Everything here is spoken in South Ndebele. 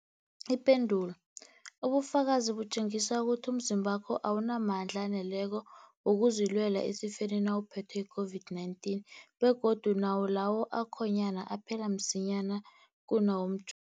Ipendulo, ubufakazi butjengisa ukuthi umzimbakho awunamandla aneleko wokuzilwela esifeni nawuphethwe yi-COVID-19, begodu nawo lawo akhonyana aphela msinyana kunawomj